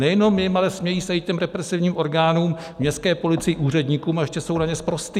Nejenom jim, ale smějí se i těm represivním orgánům, městské policii, úředníkům, a ještě jsou na ně sprostí!